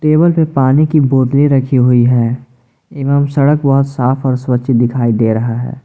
Table पे पानी की बोतले रखी हुई है एवं सड़क व साफ और स्वच्छ दिखाई दे रहा है।